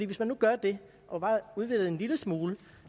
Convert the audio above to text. hvis man nu gør det og bare udvider det en lille smule